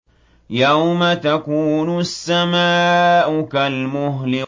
يَوْمَ تَكُونُ السَّمَاءُ كَالْمُهْلِ